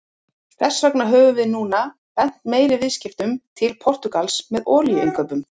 Þess vegna höfum við núna beint meiri viðskiptum til Portúgals með olíuinnkaup.